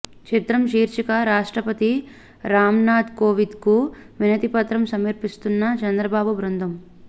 చిత్రం శీర్షిక రాష్ట్రపతి రామ్నాథ్ కోవింద్కి వినతిపత్రం సమర్పిస్తున్న చంద్రబాబు బృందం